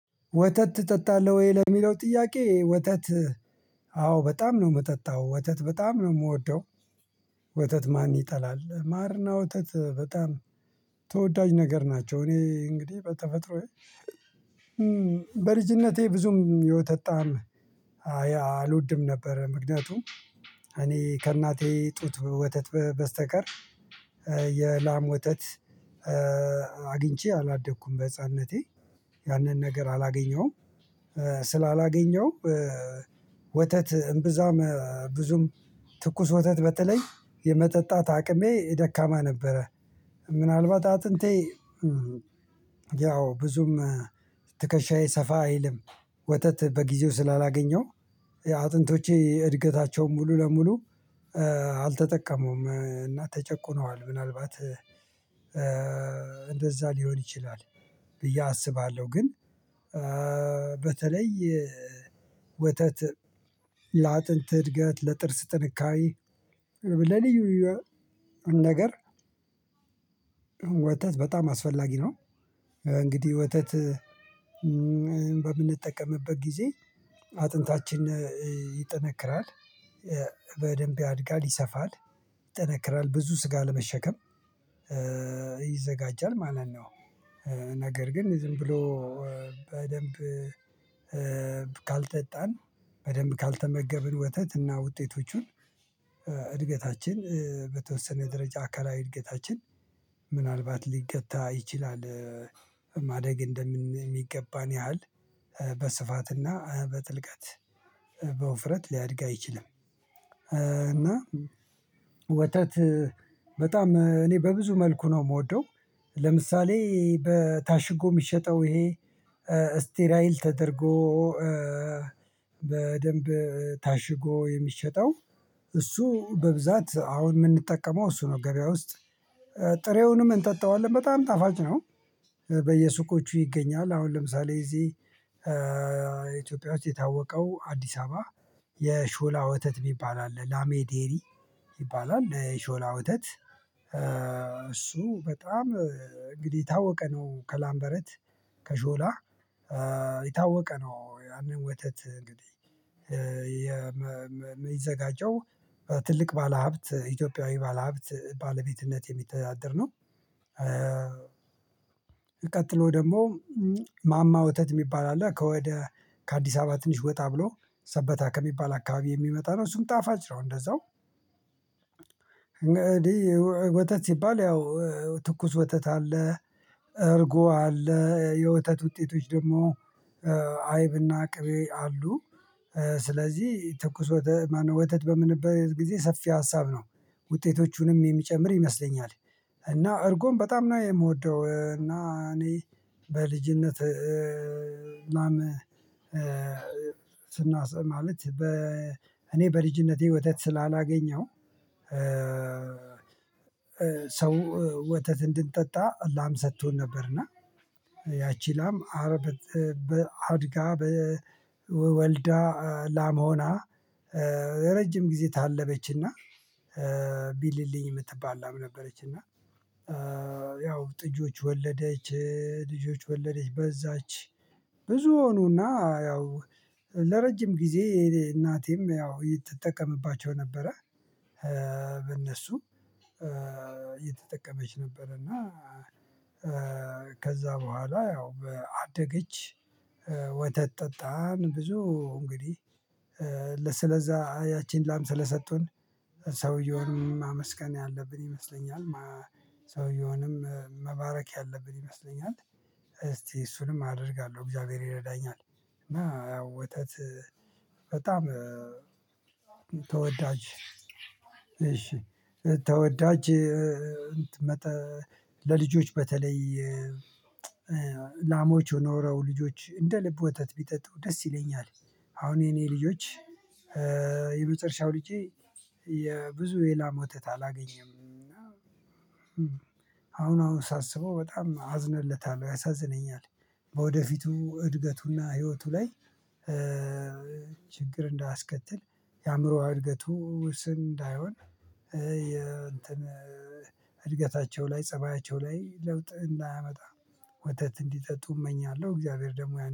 ወተት ትጠጣለሁ ወይ ለሚለው ጥያቄ ወተት አዎ በጣም ነው የምጠጣው ወተት በጣም ነው የምወደው። ወተት ማን ይጠላል ማርና ወተት በጣም። ተወዳጅ ነገር ናቸው እኔ እንግዲህ በተፈጥሮዬ በልጅነቴ ብዙም የወተት በጣም አልወድም ነበር ምክንያቱም እኔ ከእናቴ ጡት ወተት በስተቀር የላም ወተት አግኝቼ አላደኩም በህፃንነቴ ያንን ነገር አላገኘሁም። ስላላገኘሁ ወተት እምብዛም ብዙም ትኩስ ወተት በተለይ የመጠጣት አቅሜ ደካማ ነበረ። ምናልባት አጥንቴ ያው ብዙም ትከሻዬ ሰፋ አይልም ወተት በጊዜው ስላላገኘው አጥንቶቼ እድገታቸውን ሙሉ ለሙሉ አልተጠቀሙም እና ተጨቁነዋል ምናልባት እንደዛ ሊሆን ይችላል። ብዬ አስባለሁ። ግን በተለይ ወተት ለአጥንት እድገት ለጥርስ ጥንካሬ ለልዩ ልዩ ነገር ወተት በጣም አስፈላጊ ነው። እንግዲህ ወተት በምንጠቀምበት ጊዜ አጥንታችን ይጠነክራል በደንብ ያድጋል ይሰፋል ይጠነክራል ብዙ ስጋ ለመሸከም ይዘጋጃል ማለት ነው። ነገር ግን ዝም ብሎ በደንብ ካልጠጣን በደንብ ካልተመገብን ወተትና ውጤቶቹን እድገታችን በተወሰነ ደረጃ አካላዊ እድገታችን ምናልባት ሊገታ ይችላል። ማደግ እንደሚገባን ያህል በስፋትና በጥልቀት በውፍረት ሊያድግ አይችልም። እና ወተት በጣም እኔ በብዙ መልኩ ነው የምወደው። ለምሳሌ በታሽጎ የሚሸጠው ይሄ ስቴራይል ተደርጎ በደንብ ታሽጎ የሚሸጠው እሱ በብዛት አሁን የምንጠቀመው እሱ ነው ገበያ ውስጥ ጥሬውንም እንጠጣዋለን በጣም ጣፋጭ ነው። በየሱቆቹ ይገኛል አሁን ለምሳሌ እዚህ ኢትዮጵያ ውስጥ የታወቀው አዲስ አበባ የሾላ ወተት የሚባል አለ። ላሜዴሪ ይባላል የሾላ ወተት እሱ በጣም እንግዲህ ታወቀ ነው ከላምበረት ከሾላ የታወቀ ነው። ያንን ወተት እንግዲህ የሚዘጋጀው ትልቅ ባለሀብት ኢትዮጵያዊ ባለሀብት ባለቤትነት የሚተዳደር ነው። ቀጥሎ ደግሞ ማማ ወተት የሚባል አለ ከወደ ከአዲስ አበባ ትንሽ ወጣ ብሎ ሰበታ ከሚባል አካባቢ የሚመጣ ነው እሱም ጣፋጭ ነው። እንደዛው እንግዲህ ወተት ሲባል ያው ትኩስ ወተት አለ እርጎ አለ የወተት ውጤቶች ደግሞ አይብና ቅቤ አሉ። ስለዚህ ትኩስ ወተት ማነው ወተት በምንልበት ጊዜ ሰፊ ሀሳብ ነው ውጤቶቹንም የሚጨምር ይመስለኛል። እና እርጎም በጣም ነው የምወደው። እና እኔ በልጅነት ስናሰማ ማለት በ እኔ በልጅነቴ ወተት ስላላገኘሁ ሰው ወተት እንድንጠጣ ላም ሰጥቶን ነበር እና ያቺ ላም አረብ በአድጋ በወልዳ ላም ሆና ረጅም ጊዜ ታለበችና ቢልልኝ የምትባል ላም ነበረች። እና ያው ጥጆች ወለደች ልጆች ወለደች በዛች ብዙ ሆኑና ያው ለረጅም ጊዜ እናቴም ያው ምትጠቀምባቸው ነበረ። በእነሱ እየተጠቀመች ነበረ። እና ከዛ በኋላ ያው አደገች ወተት ጠጣን ብዙ እንግዲህ ለስለዛ ያቺን ላም ስለሰጡን ሰውየውንም ማመስገን ያለብን ይመስለኛል። ሰውየውንም መባረክ ያለብን ይመስለኛል። እስቲ እሱንም አደርጋለሁ እግዚአብሔር ይረዳኛል። እና ያው ወተት በጣም ተወዳጅ እሺ ተወዳጅ መጥ ለልጆች በተለይ ላሞች ኖረው ልጆች እንደ ልብ ወተት ቢጠጡ ደስ ይለኛል። አሁን የኔ ልጆች የመጨረሻው ልጄ የብዙ የላም ወተት አላገኘም። አሁን አሁን ሳስበው በጣም አዝንለታለሁ ያሳዝነኛል። በወደፊቱ እድገቱና ህይወቱ ላይ ችግር እንዳስከትል የአእምሮአዊ እድገቱ ውስን እንዳይሆን የእንትን እድገታቸው ላይ ፀባያቸው ላይ ለውጥ እንዳያመጣ ወተት እንዲጠጡ እመኛለሁ። እግዚአብሔር ደግሞ